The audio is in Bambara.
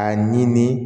A ɲini